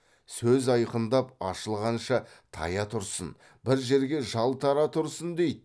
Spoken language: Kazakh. сөз айқындап ашылғанша тая тұрсын бір жерге жалтара тұрсын дейді